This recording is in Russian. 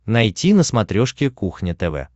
найти на смотрешке кухня тв